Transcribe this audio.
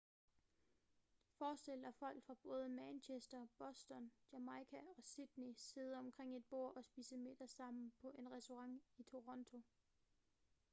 forestil dig folk fra både manchester boston jamaica og sydney sidde omkring et bord og spise middag sammen på en restaurant i toronto